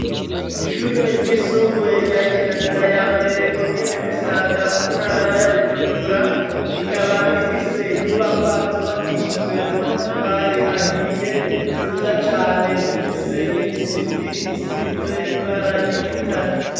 Ishure ryisumbuye rya Kinanira yambere , komine Musaga muntara ya Bujumbura, ikaba ifise inyubakwa zubakishijwe amatafari ahiye, nziza cane zifise nim'isipi isize ibara ry'igitare.